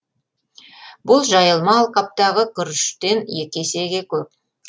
бұл жайылма алқаптағы күріштен екі есеге көп